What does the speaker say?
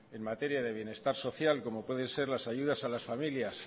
en materia de bienestar social como puede ser las ayudas a las familias